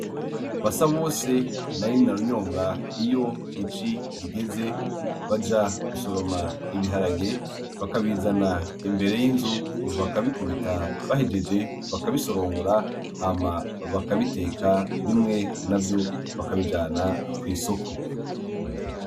Basabose na Inarunyonga iyo ici rigeze baja gusoroma ibiharage bakabizana imbere y'inzu bakabikubita, bajejeje bakabisorongora hama bakabiteka bimwe navyo bakabijana kw'isoko.